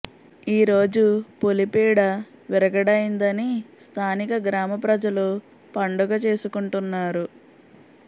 ఈ రోజు పులి పీడ విరగడయిందని స్థానిక గ్రామ ప్రజలు పండుగ చేసుకుంటున్నారు